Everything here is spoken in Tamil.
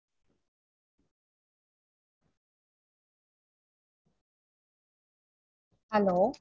Hello.